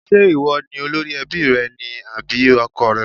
Ṣé ìwọ ni olórí ẹbí rẹ ni àbí ọkọọ̀ rẹ?